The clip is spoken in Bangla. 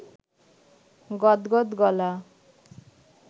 গদগদ গলা